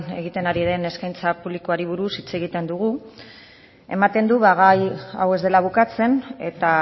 egiten ari den eskaintza publikoari buruz hitz egiten dugu ematen du gai hau ez dela bukatzen eta